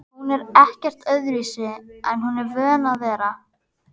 Hún er ekkert öðruvísi en hún er vön að vera